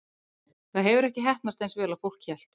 Það hefur ekki heppnast eins vel og fólk hélt.